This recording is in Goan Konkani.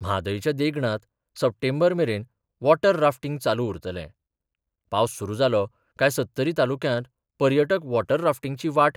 म्हादयच्या देंगणांत सप्टेंबर मेरेन वॉटर राफ्टींग चालू उरतलें पावस सुरू जालो काय सत्तरी तालुक्यांत पर्यटक वॉटर राफ्टींगची वाट